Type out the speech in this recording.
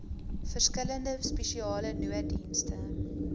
verskillende spesiale nooddienste